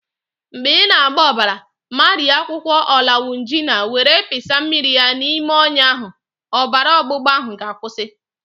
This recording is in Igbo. Mgbe ị na-agba ọbara, mariee akwukwo ọlawunjina were pịsa mmiri ya n'ime ọnya ahụ, ọbara ọgbụgba ahụ ga-akwụsị.